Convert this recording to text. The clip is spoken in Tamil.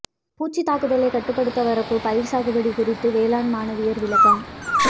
பூச்சித் தாக்குதலைக் கட்டுப்படுத்தவரப்புப் பயிா் சாகுபடி குறித்து வேளாண் மாணவியா் விளக்கம்